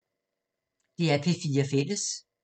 DR P4 Fælles